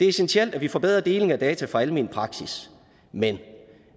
essentielt at vi får bedre deling af data fra almen praksis men